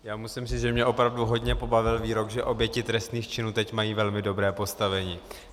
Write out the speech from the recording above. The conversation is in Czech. Já musím říct, že mě opravdu hodně pobavil výrok, že oběti trestných činů teď mají velmi dobré postavení.